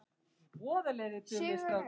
Heyið verður bara ónýtt.